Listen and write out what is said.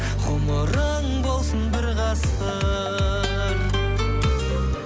ғұмырың болсын бір ғасыр